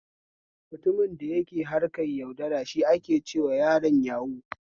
Mutumin da yake harkar yaudara shi ake cewa yaron yahu